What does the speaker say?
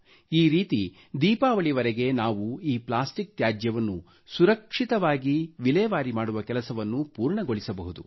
ಈ ರೀತಿ ದೀಪಾವಳಿವರೆಗೆ ನಾವು ಈ ಪ್ಲಾಸ್ಟಿಕ್ ತ್ಯಾಜ್ಯವನ್ನು ಸುರಕ್ಷಿತವಾಗಿ ವಿಲೇವಾರಿ ಮಾಡುವ ಕೆಲಸವನ್ನು ಪೂರ್ಣಗೊಳಿಸಬಹುದು